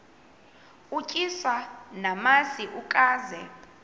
utyiswa namasi ukaze